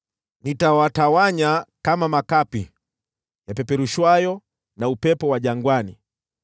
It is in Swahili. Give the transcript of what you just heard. “Nitawatawanya kama makapi yapeperushwayo na upepo wa jangwani.